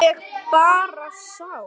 Ég bara sá.